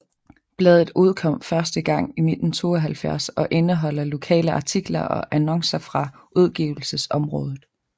Bladet udkom første gang i 1972 og indeholder lokale artikler og annoncer fra udgivelsesområdet